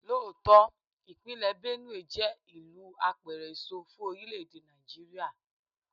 Lóòótọ́, ìpínlè Benue jẹ́ ìlú apẹ̀rẹ̀ èso fún orílè-èdè Nàìjíríà.